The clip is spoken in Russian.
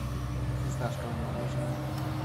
фисташковое мороженое